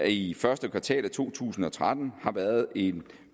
i første kvartal af to tusind og tretten har været en